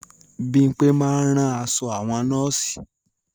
Bímpé máa ń rán aṣọ àwọn nọ́ọ̀sì